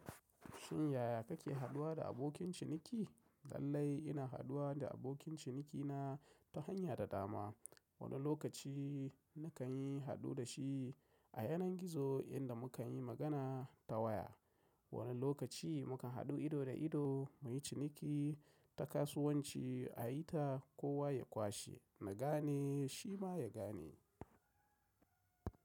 Shin yaya kake haduwa da abokin ciniki? Lallai ina haɗuwa da abokin ciniki na ta hanya da dama. Wani lokaci nakan yi haɗu da shi a yanar gizo inda mukan yi magana ta waya. Wani lokaci mukan haɗu ido da ido mu yi ciniki ta kasuwanci a yi ta kowa ya kwashe, na gane shi ma ya gane.